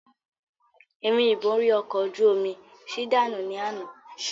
Ìrìn ìborí ọkọ̀ ojú omi mi ṣí dànù ni àná